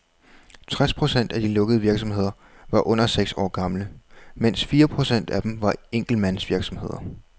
Tres procent af de lukkede virksomheder var under seks år gamle, mens fire procent af dem var enkeltmandsvirksomheder.